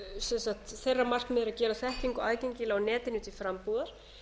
þeirra markmið er að gera setningu aðgengilega á netinu til frambúðar